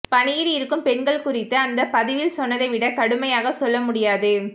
பணியில் இருக்கும் பெண்கள் குறித்து அந்த பதிவில் சொன்னதைவிட கடுமையாக சொல்ல முடியாது